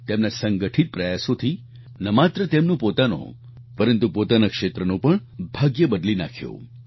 તેમના સંગઠિત પ્રયાસોથી ન માત્ર તેમનું પોતાનું પરંતુ પોતાના ક્ષેત્રનું પણ ભાગ્ય બદલી નાખ્યું